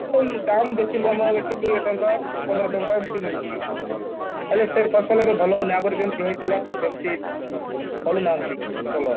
ହଁ ଦାମ ବେଶୀ ନୁହଁ ଆମ ଏଠି କୋଡିଏ ଟଙ୍କା ପନ୍ଦର ଟଙ୍କା ଏମିତି ମିଳୁଛି ହେଲେ ସେ ଫସଲ ଆଉ ଭଲ ହଉନି ଆଗରୁ ଯେମିତି ହେଇଥିଲା ସେମିତି କରୁନାହାନ୍ତି ଫସଲ